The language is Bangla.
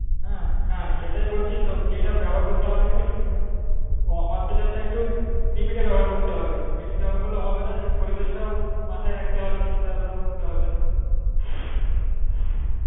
হ্যাঁ হ্যাঁ সেটাই বলছি যেটা ব্যবহার করতে হবে অন্তর্জালটা একটু limit এ ব্যবহার করতে হবে বেশি ব্যবহার করলে হবেনা এই পরিবেশটাও মাথায় রাখতে হবে চিন্তা ভাবনা করতে হবে